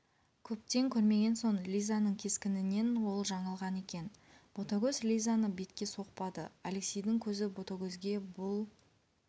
көптен көрмеген соң лизаның кескінінен ол жаңылған екен ботагөз лизаны бетке соқпады алексейдің көзі ботагөзге бұл